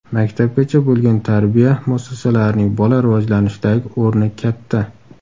Maktabgacha bo‘lgan tarbiya muassasalarining bola rivojlanishidagi o‘rni katta.